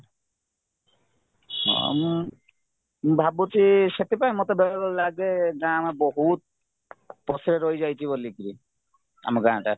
ହଁ ମୁଁ ଭାବୁଛି ସେଥିପାଇଁ ମତେ ବେଳେ ବେଳେ ଲାଗେ ଆମେ ବହୁତ ପଛରେ ରହି ଯାଇଛି ବୋଲିକିରି ଆମ ଗାଁଟା